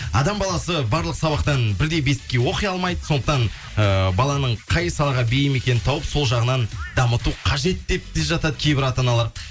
адам баласы барлық сабақтан бірдей беске оқи алмайды сондықтан ыыы баланың қай салаға бейім екенін тауып сол жағынан дамыту қажет деп те жатады кейбір ата аналар